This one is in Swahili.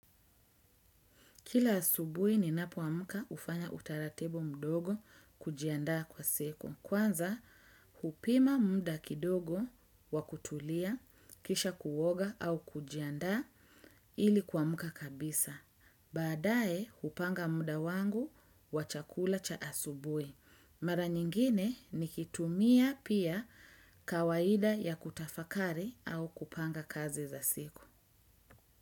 Kila asubui ninapoamuka ufanya utaratibu mdogo kujiandaa kwa siku. Kwanza, hupima muda kidogo wakutulia, kisha kuwoga au kujiandaa ili kuamuka kabisa. Baadae, hupanga muda wangu wa chakula cha asubui. Mara nyingine nikitumia pia kawaida ya kutafakari au kupanga kazi za siku.